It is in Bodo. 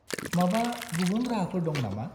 -माबा गुबुन राहाफोर दं नामा?